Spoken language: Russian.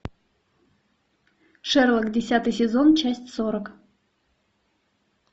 шерлок десятый сезон часть сорок